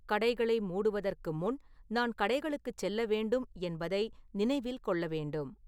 கடைகளை மூடுவதற்கு முன், நான் கடைகளுக்குச் செல்ல வேண்டும் என்பதை நினைவில் கொள்ள வேண்டும்